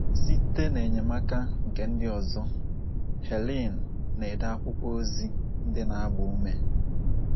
Site n’enyemaka nke ndị ọzọ, Helen na - ede akwụkwọ ozi ndị na - agba ume